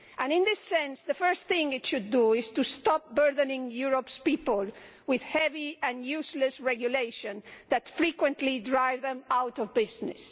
In this sense, the first thing it should do is to stop burdening Europe's people with heavy and useless regulation that frequently drives them out of business.